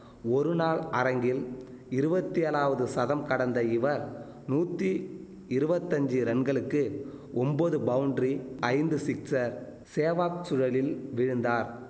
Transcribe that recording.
ஒரு நாள் அரங்கில் இருவத்தேழாவது சதம் கடந்த இவர் நூத்தி இருவத்தஞ்சி ரன்களுக்கு ஒம்பது பவுண்ரி ஐந்து சிக்சர் சேவக் சுழலில் வீழுந்தார்